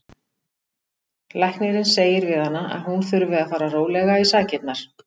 Læknirinn segir við hana að hún þurfi að fara rólega í sakirnar.